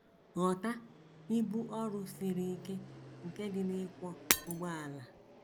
Ghọta ibu ọrụ siri ike nke dị n’ịkwọ ụgbọala.